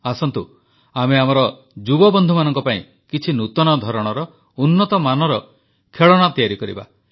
ଆସନ୍ତୁ ଆମେ ଆମର ଯୁବବନ୍ଧୁମାନଙ୍କ ପାଇଁ କିଛି ନୂତନ ଧରଣର ଉନ୍ନତ ମାନର ଖେଳଣା ତିଆରି କରିବା